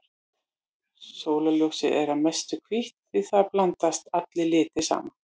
Sólarljósið er að mestu hvítt því þar blandast allir litir saman.